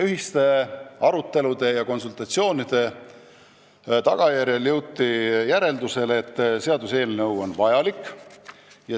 Ühiste arutelude ja konsultatsioonide tulemusel jõuti järeldusele, et seaduseelnõu on vajalik.